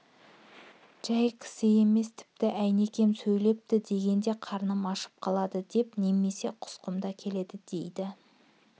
жай кісі емес тіпті әйнекем сөйдепті дегенде қарным ашып қалады деп немесе құсқым да келеді дейді